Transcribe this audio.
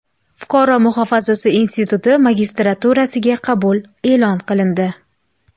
Fuqaro muhofazasi instituti magistraturasiga qabul e’lon qilindi.